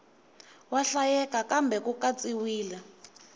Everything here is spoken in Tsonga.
wa hlayeka kambe ku katsiwile